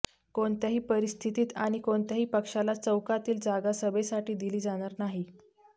कोणत्याही परिस्थितीत आणि कोणत्याही पक्षाला चौकातील जागा सभेसाठी दिली जाणार नाही